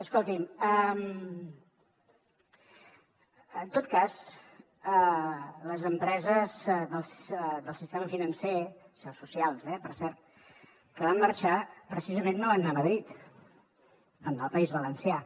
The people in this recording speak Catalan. escolti en tot cas les empreses del sistema financer seus socials eh per cert que van marxar precisament no van anar a madrid van anar al país valencià